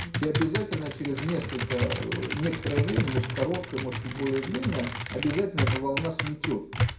я обязательно через несколько некоторое время может короткая может быть более длинное обязательно это волна сметёт